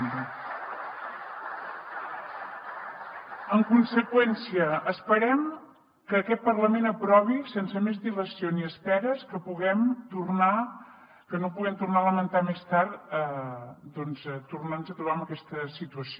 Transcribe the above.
en conseqüència esperem que aquest parlament aprovi sense més dilació ni esperes que no puguem tornar a lamentar més tard doncs tornar nos a trobar en aquesta situació